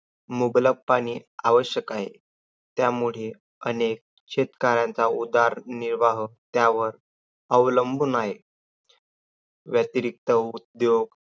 मुबलकपणे आवश्यक आहे. त्यामुळे अनेक शेतकऱ्याचा उदरनिर्वाह अवलंबून आहे. व्यतिरिक्त उद्योग